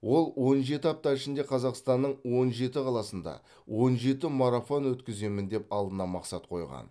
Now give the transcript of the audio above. ол он жеті апта ішінде қазақстанның он жеті қаласында он жеті марафон өткіземін деп алдына мақсат қойған